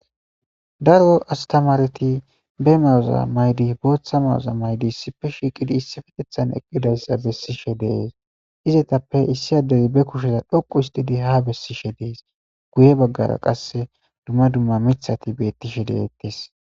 daro astamareti be mawuza maydi booththa mawuza maydi issiippe shiiqidi issi fetethan eqqidayssa bessishe dees izetappe issi adderi be kusheza dhoqu histidi ha bessishe dees guye baggara qasse dumma dumma mithati bettishe deettes